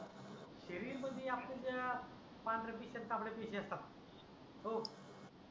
शरीर मध्ये आपल्या ज्या पांडऱ्या पिशया तांबड्या पिशया असतात हो